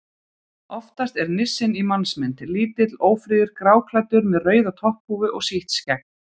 Oftast er nissinn í mannsmynd: Lítill, ófríður, gráklæddur með rauða topphúfu og sítt skegg.